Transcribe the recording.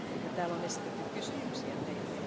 Täällä on esitetty kysymyksiä teille.